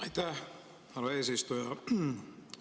Aitäh, härra eesistuja!